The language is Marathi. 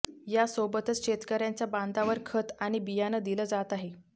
यासोबतच शेतकऱ्यांच्या बांधावर खत आणि बियाणं दिलं जात आहे